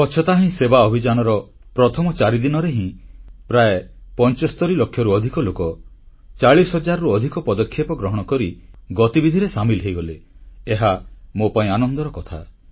ସ୍ୱଚ୍ଛତା ହିଁ ସେବା ଅଭିଯାନର ମାତ୍ର ପ୍ରଥମ ଚାରିଦିନରେ ହିଁ ପ୍ରାୟ 75 ଲକ୍ଷରୁ ଅଧିକ ଲୋକ 40 ହଜାରରୁ ଅଧିକ ପଦକ୍ଷେପ ଗ୍ରହଣ କରି ଗତିବିଧିରେ ସାମିଲ ହୋଇଗଲେ ଏହା ମୋ ପାଇଁ ଆନନ୍ଦର କଥା